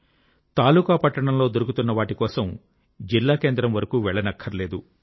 తాలూకా పట్టణంలో దొరుకుతున్నవాటి కోసం జిల్లా కేంద్రం వరకూ వెళ్ళక్కరలేదు